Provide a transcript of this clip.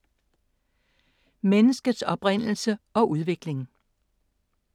Menneskets oprindelse og udvikling